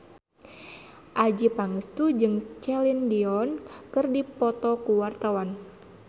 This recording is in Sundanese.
Adjie Pangestu jeung Celine Dion keur dipoto ku wartawan